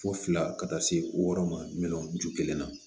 Fo fila ka taa se wɔɔrɔ ma miliyɔn ju kelenna